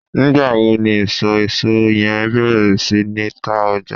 nigba wo ni iso eso yen beer si ni ta oja?